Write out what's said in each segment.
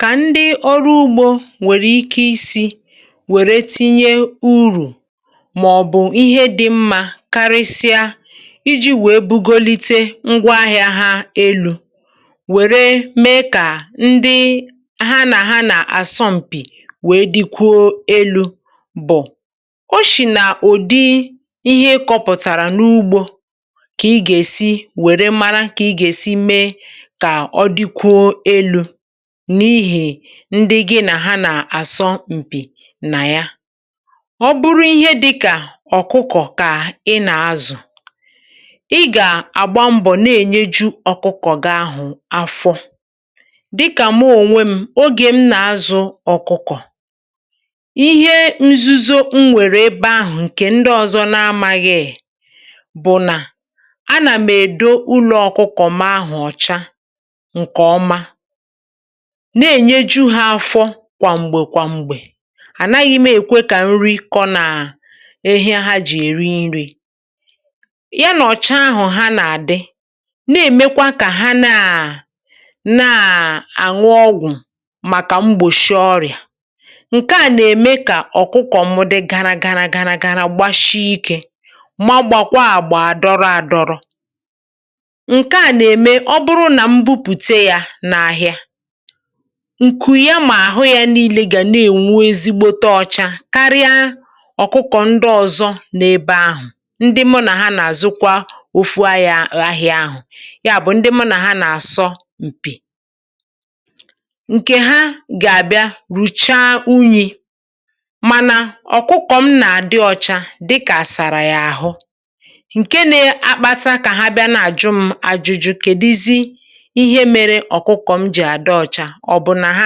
Kà ndị ọrụ ugbȯ nwèrè ike isi̇ nwère tinye urù mà ọ̀bụ̀ ihe dị̇ mmȧ karịsịa iji̇ wèe bugolite ngwaahịa ha elu̇, wère mee kà ndị ha nà ha nà àsọ̀mpị̀ wèe dịkwuo elu̇ bụ̀, oshì nà ụ̀dị ihe ịkọ̇pụ̀tàrà n’ugbȯ kà ị gà-èsi wèe mara kà ị gà-èsi mee ka o dịkwuo elu̇ n’ihè ndị gị nà ha nà-àsọ m̀pì nà ya. Ọ bụrụ ihe dịkà ọ̀kụkọ̀ kà ị nà-azụ̀ ị gà-àgba mbọ̀ na-ènyeju̇ ọkụkọ̀ gị ahụ̀ afọ dịkà m onwe m, ogè m nà-azụ̇ ọ̀kụkọ̀. Ihe nzuzo m nwèrè ebe ahụ̀ ǹkè ndị ọ̀zọ n’amȧghị̇ bụ̀ nà anà m èdȯ ụlọ ọkụkọ̀ mu ahụ̀ ọ̀cha nke oma, na-ènyeju ha afọ kwàm̀gbè kwàm̀gbè ànaghị̇ m èkwe kà nri kọ na ahịe ha jì èri nri̇, ya nọ̀chaa ahụ̀ ha nà-àdị na-èmekwa kà ha naà nà-àṅụ ọgwụ̀ màkà mgbòshịọ ọrịà. Ǹke à nà-ème kà ọ̀kụkọ̀ mụdị gara gara gara gara gbashi ikė ma gbàkwaa àgbà adọrọ adọrọ. Ǹke à nà-ème ọbụrụ nà mbupùte yȧ n’ahia, ǹkù ya mà àhụ ya niilė gà na-ènwu ezigbote ọcha karịa ọ̀kụkọ̀ ndọọzọ n’ebe ahụ̀, ndị mụ nà ha nà-àzụkwa ofu ahia ahịa ahụ̀ ya bụ̀ ndị mụ nà ha nà-àsọ m̀pì. Ǹkè ha gà-àbịa rùchaa unyì mànà ọ̀kụkọ̀ m nà-àdị ọcha dịkà asàrà yà àhụ, ǹke na-akpata kà ha bịa na-àjụ m àjụjụ kèduzi ihe mere ọ̀kụkọ̀ mu ji na-adi ọcha ọ̀ bụ̀ nà ha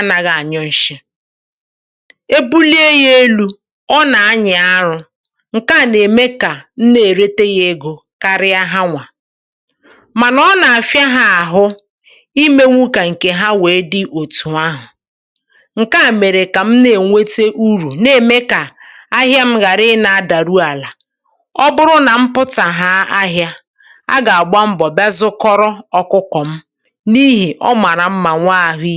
anaghị ànyọ nshị̀. E bulie yȧ elu̇ ọ nà anyà arụ ǹke à nà-ème kà m na-èrete yȧ egȯ karịa ha nwà mànà ọ nà-àfịa ha àhụ imėwèe kà ǹkè ha wèe dị òtù ahụ̀ ǹke à mèrè kà m na-ènwete urù na-ème kà ahịa m ghàra ị na-adà ru àlà ọ bụrụ nà m pụ̀tà ha ahịȧ a gà-àgba mbọ̀ bịa zụkọrọ ọkụkọ̀ m n’ihe ọ mara mma nwee ahụ̀